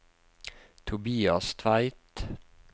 Tobias Tveit